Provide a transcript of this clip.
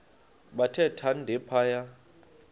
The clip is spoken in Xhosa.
bathe thande phaya